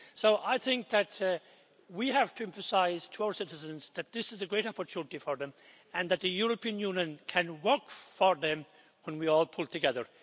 So I think that we have to emphasise to our citizens that this is a great opportunity for them and that the European Union can work for them when we all pull together.